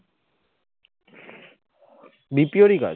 BPO রি কাজ